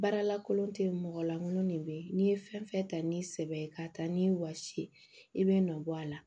Baaralakolon te yen mɔgɔ lankolon de be ye n'i ye fɛn fɛn ta ni sɛbɛ ye k'a ta ni wɔsi ye i bɛ nɔbɔ a la